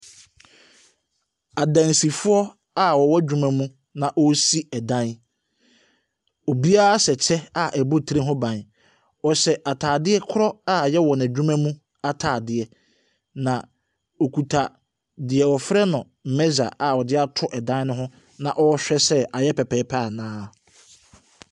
Adansifoɔ a wɔwɔ adwuma mu na wɔresi dan. Obira hyɛ kyɛ a ɛbɔ tire ho ban. Wɔhyɛ ataade korɔ a ɛyɛ wɔn adwuma mu ataadeɛ. Na okuta deɛ wɔfrɛ no measure a ɔde ato dan no ho na ɔrehwɛ sɛ ayɛ pɛpɛɛpɛ anaa.